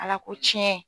Ala ko tiɲɛ